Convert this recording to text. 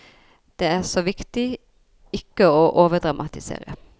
Det er så viktig ikke å overdramatisere.